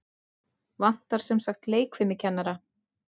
Vantar semsagt leikfimikennara?